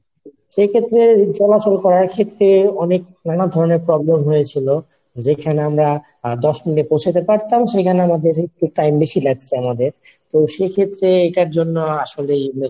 সেইক্ষেত্রে চলাচল করার ক্ষেত্রে অনেক নানা ধরণের problem হয়েছিল, যেখানে আমরা আহ দশ minute এ পোঁছাতে পারতাম সেখানে আমাদের একটু time বেশি লাগছে আমাদের, তো সেক্ষেত্রে এটার জন্য আসলেই অনেক